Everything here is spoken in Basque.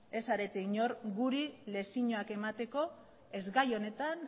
ez zarete inor guri lezioak emateko ez gai honetan